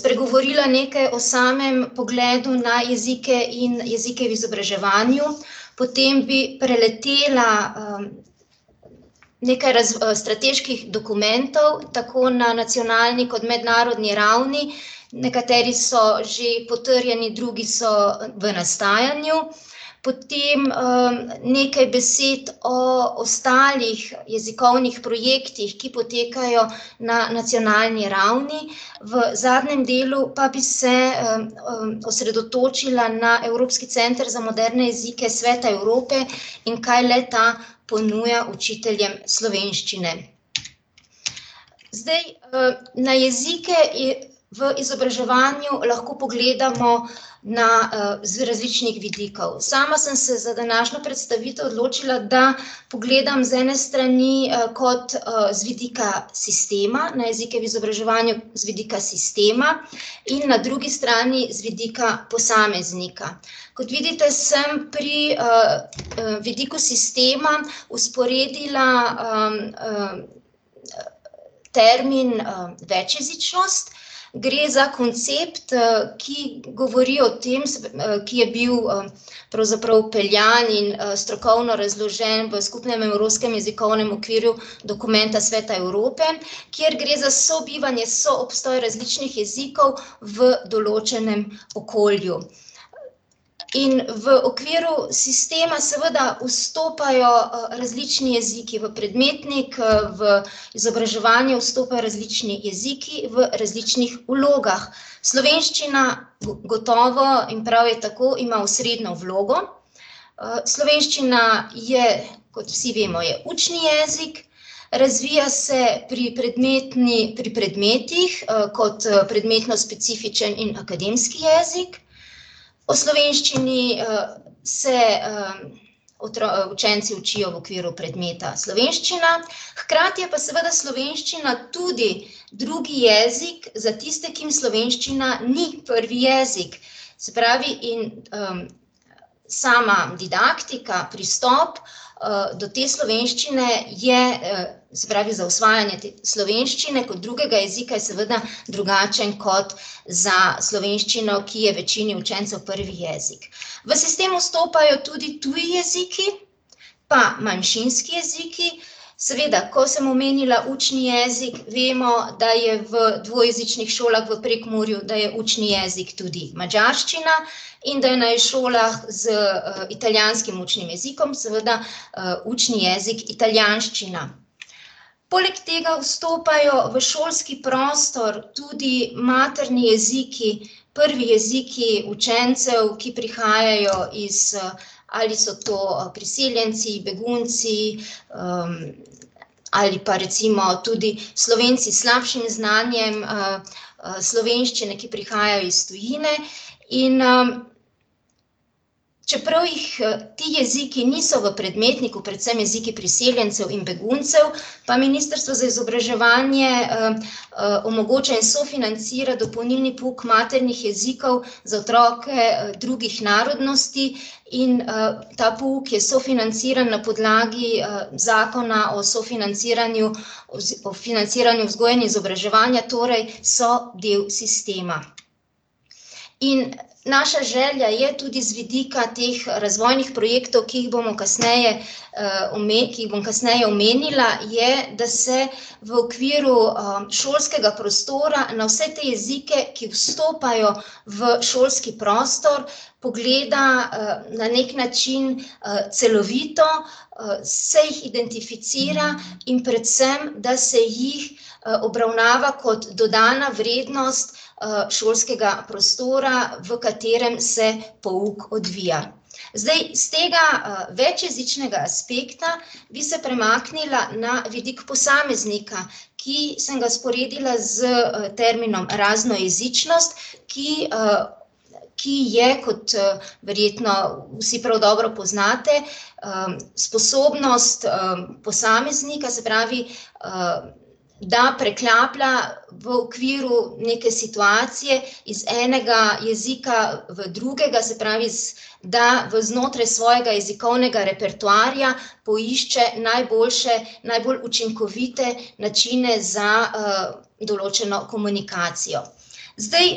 spregovorila nekaj o samem pogledu na jezike in jezike v izobraževanju. Potem bi preletela, nekaj strateških dokumentov, tako na nacionalni kot mednarodni ravni, nekateri so že potrjeni, drugi so v nastajanju. Potem, nekaj besed o ostalih jezikovnih projektih, ki potekajo na nacionalni ravni, v zadnjem delu pa bi se, osredotočila na Evropski center za moderne jezike Sveta Evrope in kaj le ta ponuja učitljem slovenščine. Zdaj, na jezike v izobraževanju lahko pogledamo na, z različnih vidikov. Sama sem se za današnjo predstavitev odločila, da pogledam z ene strani kot, z vidika sistema, na jezike v izobraževanju z vidika sistema, in na drugi strani z vidika posameznika. Kot vidite, sem pri, vidiku sistema vzporedila, termin, večjezičnost, gre za koncept, ki govori o tem, ki je bil, pravzaprav vpeljan in, strokovno razložen v skupnem evropskem jezikovnem okvirju dokumenta Sveta Evrope , kjer gre za sobivanje, soobstoj različnih jezikov v določenem okolju. In v okviru sistema seveda vstopajo, različni jeziki v predmetnik, v izobraževanje vstopajo različni jeziki v različnih vlogah. Slovenščina gotovo, in prav je tako, ima osrednjo vlogo, slovenščina je, kot vsi vemo, je učni jezik, razvija se pri pri predmetih, kot, predmetno specifičen in akademski jezik. O slovenščini, se, učenci učijo v okviru predmeta slovenščina, hkrati je pa seveda slovenščina tudi drugi jezik za tiste, ki jim slovenščina ni prvi jezik. Se pravi, in, sama didaktika, pristop, do te slovenščine je, se pravi, za osvajanje te slovenščine kot drugega jezika je seveda drugačen kot za slovenščino, ki je večini učencev prvi jezik. V sistem vstopajo tudi tudi jeziki pa manjšinski jeziki. Seveda, ko sem omenila učni jezik, vemo, da je v dvojezičnih šolah v Prekmurju, da je učni jezik tudi madžarščina, in da je na šolah z, italijanskim učnim jezikom seveda, učni jezik italijanščina. Poleg tega vstopajo v šolski prostor tudi materni jeziki, prvi jeziki učencev, ki prihajajo iz, ali so to priseljenci, begunci, ali pa recimo tudi Slovenci s slabšim znanjem, slovenščine, ki prihajajo iz tujine. In, čeprav jih, ti jeziki niso v predmetniku, predvsem jeziki priseljencev in beguncev, pa ministrstvo za izobraževanje, omogoča in sofinancira dopolnilni pouk maternih jezikov za otroke, drugih narodnosti in, ta pouk je sofinanciran na podlagi, zakona o sofinanciranju o financiranju vzgoje in izobraževanja, torej so del sistema. In naša želja je, tudi z vidika teh razvojnih projektov, ki jih bomo kasneje , ki jih bom kasneje omenila, je, da se v okviru, šolskega prostora na vse te jezike, ki vstopajo v šolski prostor, pogleda, na neki način, celovito, se jih identificira in predvsem da se jih, obravnava kot dodana vrednost, šolskega prostora, v katerem se pouk odvija. Zdaj, s tega, večjezičnega aspekta bi se premaknila na vidik posameznika, ki sem ga vzporedila s terminom raznojezičnost, ki, ki je, kot, verjetno vsi prav dobro poznate, sposobnost, posameznika, se pravi da preklaplja v okviru neke situacije iz enega jezika v drugega, se pravi da v znotraj svojega jezikovnega repertoarja poišče najboljše, najbolj učinkovite načine za, določeno komunikacijo. Zdaj,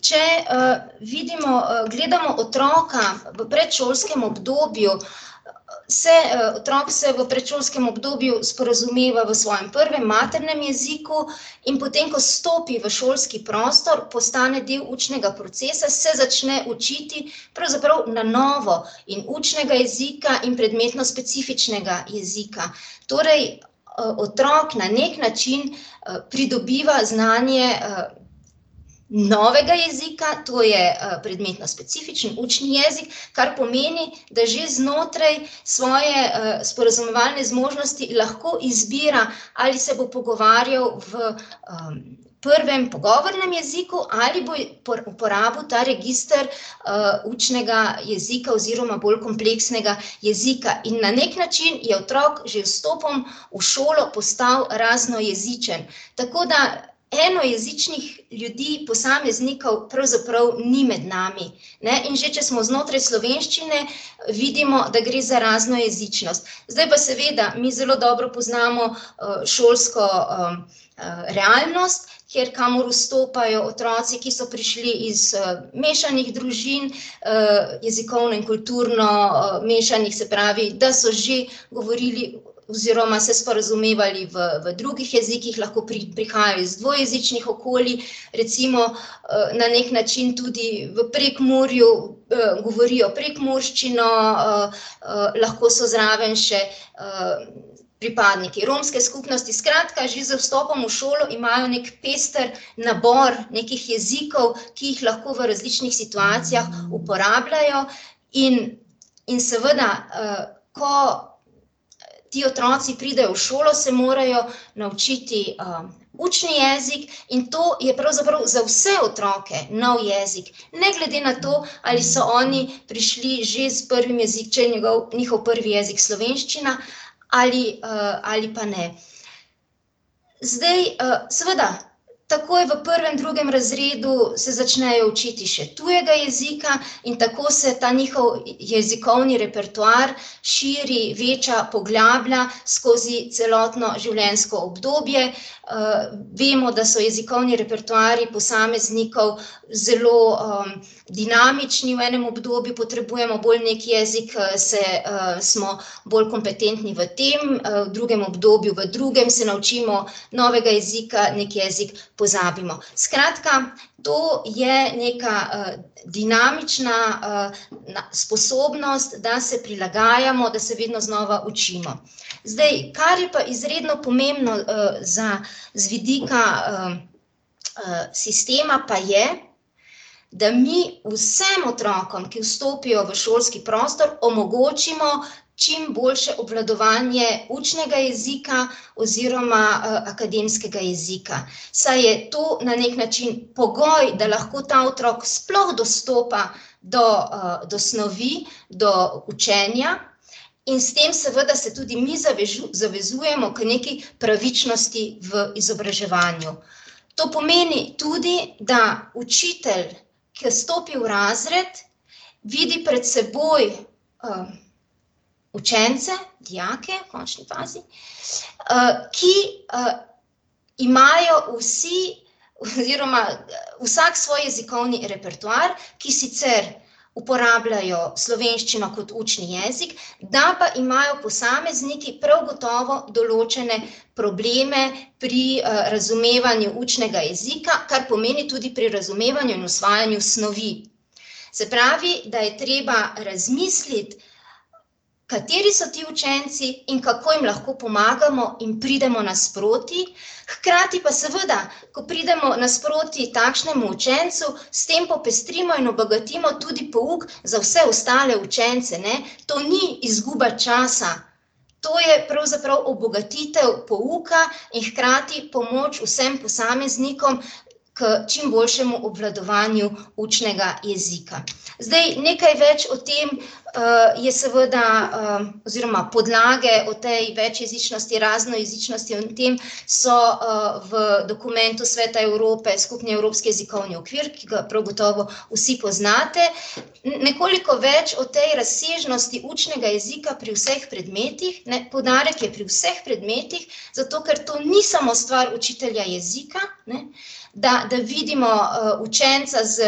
če, vidimo, gledamo otroka v predšolskem obdobju, se, otrok se v predšolskem obdobju sporazumeva v svojem prvem, maternem jeziku, in potem ko stopi v šolski prostor, postane del učnega procesa, se začne učiti pravzaprav na novo in učnega jezika in predmetnospecifičnega jezika. Torej, otrok na neki način, pridobiva znanje, novega jezika, to je, predmetnospecifični učni jezik, kar pomeni, da že znotraj svoje, sporazumevalne zmožnosti lahko izbira, ali se bo pogovarjal v, prvem pogovornem jeziku ali bo uporabil ta register, učnega jezika oziroma bolj kompleksnega jezika, in na neki način je otrok že z vstopom v šolo postal raznojezičen. Tako da enojezičnih ljudi, posameznikov, pravzaprav ni med nami. Ne, in že če smo znotraj slovenščine, vidimo, da gre za raznojezičnost, zdaj pa seveda mi zelo dobro poznamo, šolsko, realnost, kjer, kamor vstopajo otroci, ki so prišli iz, mešanih družin, jezikovno in kulturno, mešanih, se pravi, da so že govorili oziroma se sporazumevali v, v drugih jezikih, lahko prihajajo iz dvojezičnih okolij, recimo, na neki način tudi v Prekmurju, govorijo prekmurščino, lahko so zraven še, pripadniki romske skupnosti, skratka, že z vstopom v šolo imajo neki pester nabor nekih jezikov, ki jih lahko v različnih situacijah uporabljajo. In, in seveda, ko ti otroci pridejo v šolo, se morajo naučiti, učni jezik, in to je pravzaprav za vse otroke nov jezik, ne glede na to, ali so oni prišli že s prvim če je njegov, njihov prvi jezik slovenščina ali, ali pa ne. Zdaj, seveda takoj v prvem, drugem razredu se začnejo učiti še tujega jezika in tako se ta njihov jezikovni repertoar širi, veča, poglablja skozi celotno življenjsko obdobje, vemo, da so jezikovni repertoarji posameznikov zelo, dinamični, v enem obdobju potrebujemo bolj neki jezik, se, smo bolj kompetentni v tem, v drugem obdobju, v drugem se naučimo novega jezika, neki jezik pozabimo. Skratka, to je neka, dinamična, sposobnost, da se prilagajamo, da se vedno znova učimo. Zdaj, kar je pa izredno pomembno, za, z vidika, sistema, pa je, da mi vsem otrokom, ki vstopijo v šolski prostor, omogočimo čimboljše obvladovanje učnega jezika oziroma, akademskega jezika, saj je to na neki način pogoj, da lahko ta otrok sploh dostopa do, do snovi, do učenja. In s tem seveda se tudi mi zavezujemo k nekaj pravičnosti v izobraževanju. To pomeni tudi, da učitelj, ke stopi v razred, vidi pred seboj, učence, dijake v končni fazi, ki, imajo vsi oziroma vsak svoj jezikovni repertoar, ki sicer uporabljajo slovenščino kot učni jezik, da pa imajo posamezniki prav gotovo določene probleme pri, razumevanju učnega jezika, kar pomeni tudi pri razumevanju in osvajanju snovi. Se pravi, da je treba razmisliti, kateri so ti učenci in kako jim lahko pomagamo in pridemo nasproti, hkrati pa seveda, ko pridemo nasproti takšnemu učencu, s tem popestrimo in obogatimo tudi pouk za vse ostale učence, ne, to ni izguba časa. To je pravzaprav obogatitev pouka in hkrati pomoč vsem posameznikom k čimboljšemu obvladovanju učnega jezika. Zdaj, nekaj več o tem, je seveda, oziroma podlage o tej večjezičnosti, raznojezičnosti in tem so, v dokumentu Sveta Evrope, Skupni evropski jezikovni okvir, ki ga prav gotovo vsi poznate. nekoliko več o tej razsežnosti učnega jezika pri vseh predmetih, ne, poudarek je pri vseh predmetih, zato ker to ni samo stvar učitelja jezika, ne, da, da vidimo, učenca s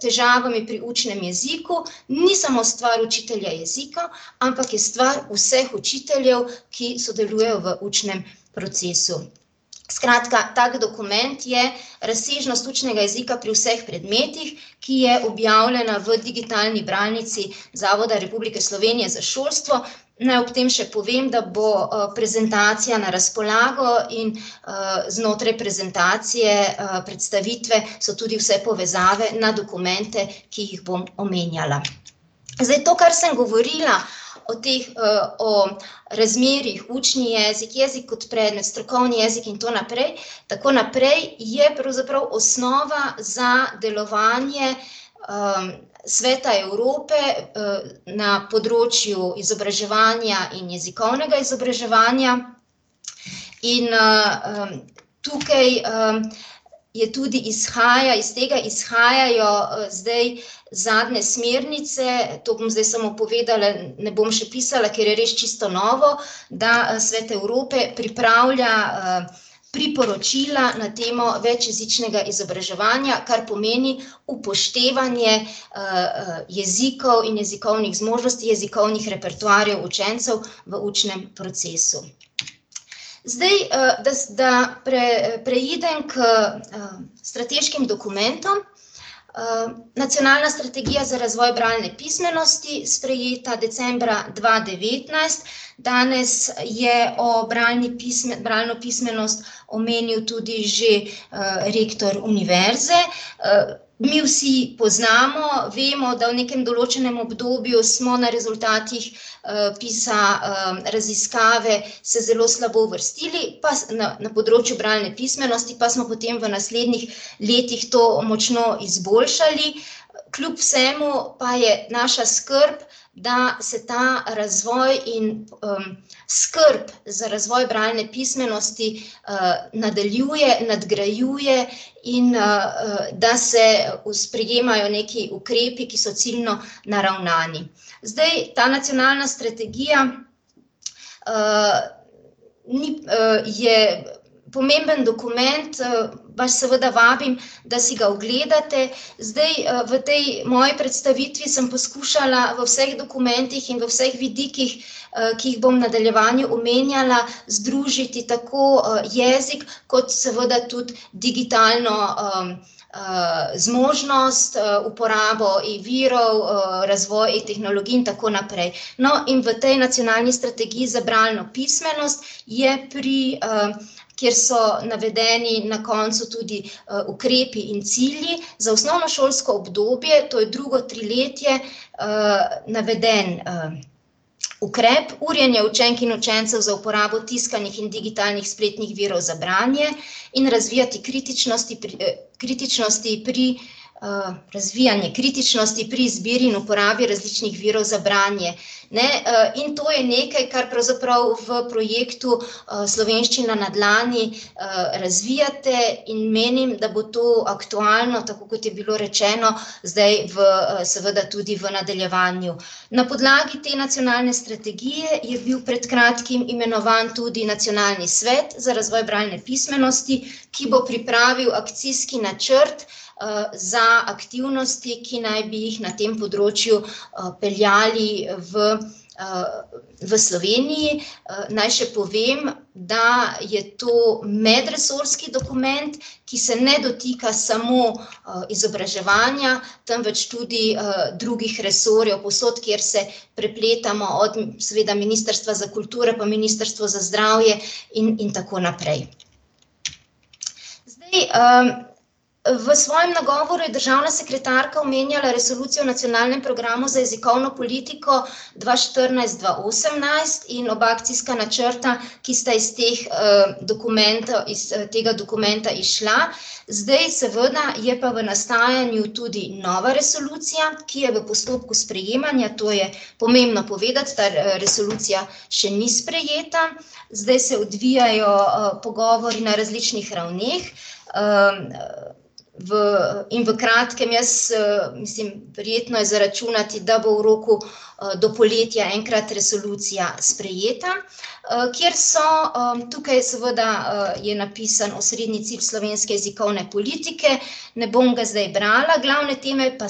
težavami pri učnem jeziku, ni samo stvar učitelja jezika, ampak je stvar vseh učiteljev, ki sodelujejo v učnem procesu. Skratka, tak dokument je razsežnost učnega jezika pri vseh predmetih, ki je objavljena v digitalni bralnici Zavoda Republike Slovenije za šolstvo. Naj ob tem še povem, da bo, prezentacija na razpolago in, znotraj prezentacije, predstavitve so tudi vse povezave na dokumente, ki jih bom omenjala. Zdaj, to, kar sem govorila o teh, o razmerjih, učni jezik, jezik kot predmet, strokovni jezik in to naprej, tako naprej, je pravzaprav osnova za delovanje, Sveta Evrope, na področju izobraževanja in jezikovnega izobraževanja, in, tukaj, je tudi izhaja, iz tega izhajajo, zdaj zadnje smernice, to bom zdaj samo povedala, ne bom še pisala, ker je res čisto novo, da Svet Evrope pripravlja, priporočila na temo večjezičnega izobraževanja, kar pomeni upoštevanje, jezikov in jezikovnih zmožnosti, jezikovnih repertoarjev učencev v učnem procesu. Zdaj, da da preidem k, strateškim dokumentom, Nacionalna strategija za razvoj bralne pismenosti, sprejeta decembra dva devetnajst, danes je o bralni bralno pismenost omenil tudi že, rektor univerze, mi vsi poznamo, vemo, da v nekem določenem obdobju smo na rezultatih, raziskave se zelo slabo uvrstili, pa na področju bralne pismenosti, pa smo potem v naslednjih letih to močno izboljšali. Kljub vsemu pa je naša skrb, da se ta razvoj in, skrb za razvoj bralne pismenosti, nadaljuje, nadgrajuje in, da se sprejemajo nekaj ukrepi, ki so ciljno naravnani. Zdaj, ta nacionalna strategija, ni, je pomemben dokument, vas seveda vabim, da si ogledate, zdaj, v tej moji predstavitvi sem poskušala v vseh dokumentih in vseh vidikih, ki jih bom v nadaljevanju omenjala, združiti tako, jezik kot seveda tudi digitalno, zmožnost, uporabo e-virov, razvoj e-tehnologij in tako naprej. No, in v tej nacionalni strategiji za bralno pismenost je pri, kjer so navedeni na koncu tudi, ukrepi in cilji za osnovnošolsko obdobje, to je drugo triletje, naveden, ukrep urjenja učenk in učencev za uporabo tiskanih in digitalnih spletnih virov za branje, in razvijati kritičnosti pri, kritičnosti pri, razvijanje kritičnosti pri izbiri in uporabi različnih virov za branje. Ne, in to je nekaj, kar pravzaprav v projektu, Slovenščina na dlani, razvijate, in menim, da bo to aktualno, tako kot je bilo rečeno, zdaj v, seveda tudi v nadaljevanju. Na podlagi te nacionalne strategije je bil pred kratkim imenovan tudi nacionalni svet za razvoj bralne pismenosti, ki bo pripravil akcijski načrt, za aktivnosti, ki naj bi jih na tem področju, peljali v, v Sloveniji, naj še povem, da je to medresorski dokument, ki se ne dotika samo, izobraževanja, temveč tudi, drugih resorjev, povsod, kjer se prepletamo, od seveda Ministrstva za kulturo pa Ministrstvo za zdravje in, in tako naprej. Zdaj, v svojem nagovoru je državna sekretarka omenjala resolucijo nacionalnem programu za jezikovno politiko dva štirinajst-dva osemnajst in oba akcijska načrta, ki sta iz teh, dokumentov, iz tega dokumenta izšla. Zdaj seveda je pa v nastajanju nova resolucija, ki je v postopku sprejemanja, to je pomembno povedati, ta resolucija še ni sprejeta, zdaj se odvijajo, pogovori na različnih ravneh, V, in v kratkem jaz, mislim, verjetno je za računati, da bo v roku, do poletja enkrat resolucija sprejeta, kjer so, tukaj seveda je napisan osrednji cilj slovenske jezikovne politike, ne bom ga zdaj brala, glavne teme pa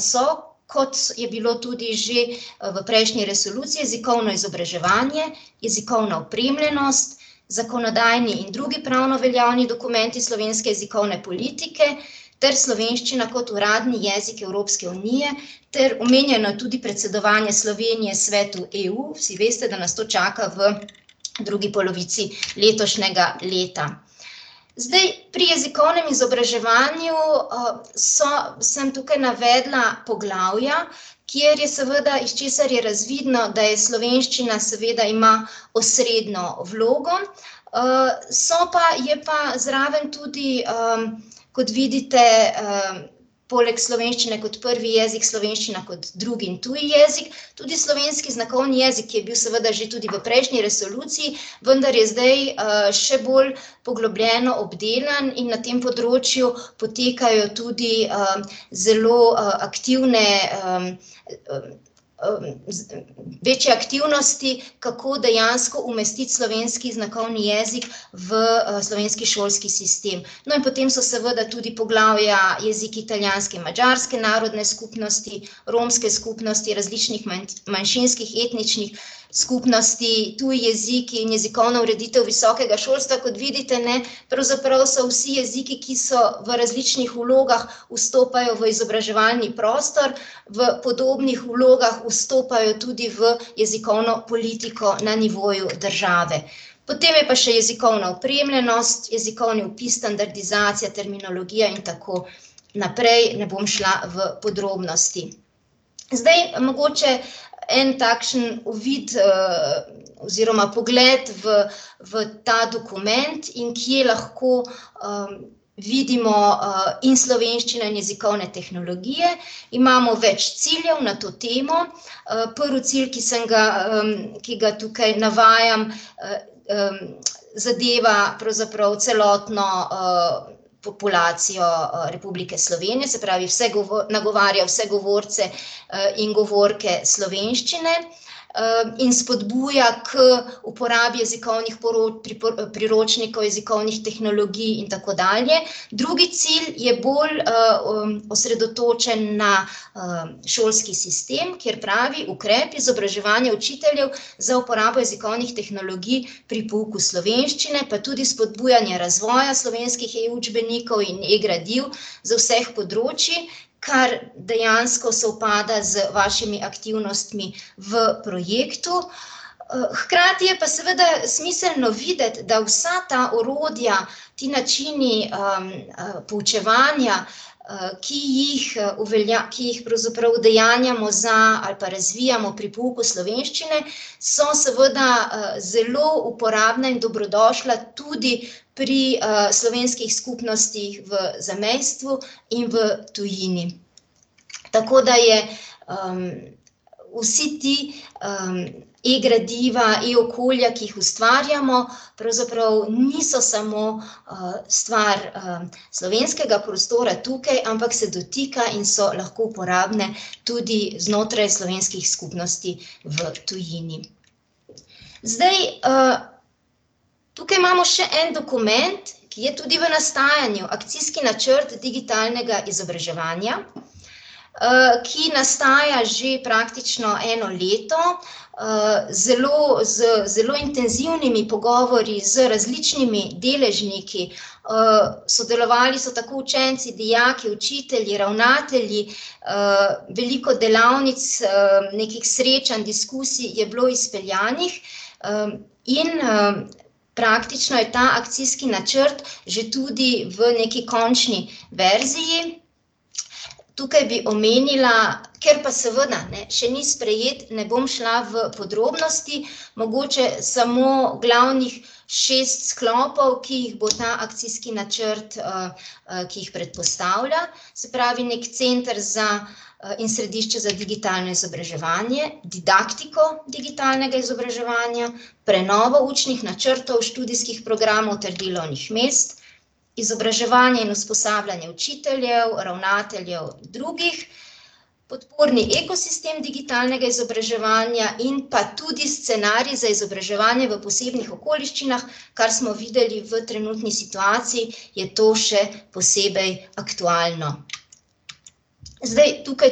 so, kot je bilo tudi že v prejšnji resoluciji: jezikovno izobraževanje, jezikovna opremljenost, zakonodajni in drugi pravno veljavni dokumenti slovenske jezikovne politike ter slovenščina kot uradni jezik Evropske unije ter omenjeno je tudi predsedovanje Slovenije Svetu EU, vsi veste, da nas to čaka v drugi polovici letošnjega leta. Zdaj pri jezikovnem izobraževanju, so, sem tukaj navedla poglavja, kjer je seveda, iz česar je razvidno, da je slovenščina, seveda ima osrednjo vlogo, so pa, je pa zraven tudi, kot vidite, poleg slovenščine kot prvi jezik slovenščina kot drugi in tuji jezik, tudi slovenski znakovni jezik je bil seveda že tudi v prejšnji resoluciji, vendar je zdaj, še bolj poglobljeno obdelan in na tem področju potekajo tudi, zelo, aktivne, večje aktivnosti, kako dejansko umestiti slovenski znakovni jezik v, slovenski šolski sistem. No, in potem so seveda tudi poglavja jeziki italijanske in madžarske narodne skupnosti, romske skupnosti različnih manjšinskih etničnih skupnosti, tudi jeziki in jezikovna ureditev visokega šolstva, kot vidite, ne, pravzaprav so vsi jeziki, ki so v različnih vlogah, vstopajo v izobraževalni prostor, v podobnih vlogah vstopajo tudi v jezikovno politiko na nivoju države. Potem je pa še jezikovna opremljenost, jezikovni opis, standardizacija, terminologija in tako naprej, ne bom šla v podrobnosti. Zdaj mogoče en takšen uvid, oziroma pogled v, v ta dokument in kje lahko, vidimo, in slovenščina in jezikovne tehnologije, imamo več ciljev na to temo. prvi cilj, ki sem ga, ki ga tukaj, ki ga navajam, zadeva pravzaprav celotno, populacijo Republike Slovenije, se pravi, vse nagovarja vse govorce, in govorke slovenščine, in spodbuja k uporabi jezikovnih priročnikov jezikovnih tehnologij in tako dalje. Drugi cilj je bolj, osredotočen na, šolski sistem, kjer pravi, ukrep izobraževanja učiteljev za uporabo jezikovnih tehnologij pri pouku slovenščine, pa tudi spodbujanje razvoja slovenskih e-učbenikov in e-gradiv z vseh področij, kar dejansko sovpada z vašimi aktivnostmi v projektu , hkrati je pa seveda smiselno videti, da vsa ta orodja, ti načini, poučevanja, ki jih, ki jih pravzaprav udejanjamo za ali pa razvijamo pri pouku slovenščine, so seveda, zelo uporabna in dobrodošla tudi pri, slovenskih skupnostih v zamejstvu in v tujini. Tako da je, ... Vsa ta, e-gradiva, e-okolja, ki jih ustvarjamo, pravzaprav niso samo, stvar, slovenskega prostora tukaj, ampak se dotikajo in so lahko uporabna tudi znotraj slovenskih skupnosti v tujini. Zdaj, tukaj imamo še en dokument, ki je tudi v nastajanju, akcijski načrt digitalnega izobraževanja, ki nastaja že praktično eno leto, zelo, z zelo intenzivnimi pogovori z različnimi deležniki, sodelovali so tako učenci, dijaki, učitelji, ravnatelji, veliko delavnic, nekih srečanj, diskusij je bilo izpeljanih, in, praktično je ta akcijski načrt že tudi v neki končni verziji. Tukaj bi omenila, ker pa seveda, ne, še ni sprejet, ne bom šla v podrobnosti, mogoče samo glavnih šest sklopov, ki jih bo ta akcijski načrt, ki jih predpostavlja, se pravi neki center za, in središče za digitalno izobraževanje, didaktiko digitalnega izobraževanja, prenovo učnih načrtov, študijskih programov ter delovnih mest, izobraževanje in usposabljanje učiteljev, ravnateljev in drugih, podporni ekosistem digitalnega izobraževanja in pa tudi scenarij za izobraževanje v posebnih okoliščinah, kar smo videli v trenutni situaciji, je to še posebej aktualno. Zdaj tukaj